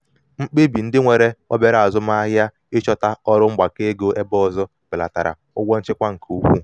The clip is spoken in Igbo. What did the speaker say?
mkpebi ndị nwere obere azụmahịa ịchọta ọrụ azụmahịa ịchọta ọrụ mgbakọ ego ebe ọzọ belatara ụgwọ nchịkwa nke ukwuu.